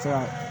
Tiɲɛ